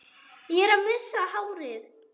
Ég er að missa hárið.